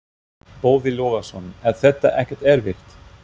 Boði Logason: Er þetta ekkert erfitt?